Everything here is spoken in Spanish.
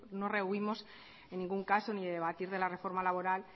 no rehuimos en ningún caso ni debatir de la reforma laboral